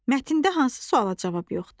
Mətndə hansı suala cavab yoxdur?